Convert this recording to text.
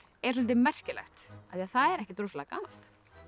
er soldið merkilegt af því það er ekkert rosalega gamalt